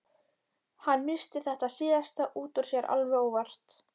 Hann missti þetta síðasta út úr sér alveg óvart.